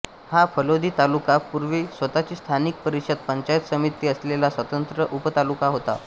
हा फलोदी तालुका पुर्वी स्वतची स्थानिक परिषद पंचायत समिती असलेला स्वतंत्र उपतालुका होता